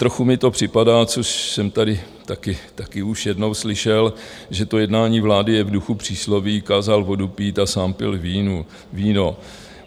Trochu mi to připadá, což jsem tady taky už jednou slyšel, že to jednání vlády je v duchu přísloví - kázal vodu pít a sám pil víno.